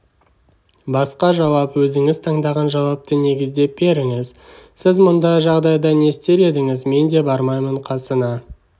басқа жауап өзіңіз таңдаған жауапты негіздеп беріңіз сіз мұндай жағдайда не істер едіңіз менде бармаймын қасына